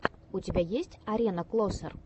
у тебя есть арена клосер